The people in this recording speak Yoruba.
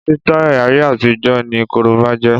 Sítáì ayé àtijó ni korobá jẹ́.